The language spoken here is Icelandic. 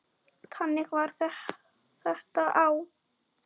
Þannig var þetta þá.